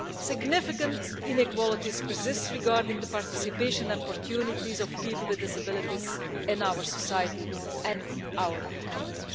Significant inequalities persist regarding the participation and opportunities of people with disabilities in our society and our economy.